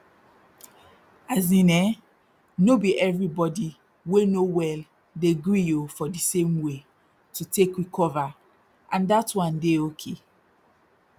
as in eh no be everybody wey no well dey gree oh for di same way to take recover and dat one dey oki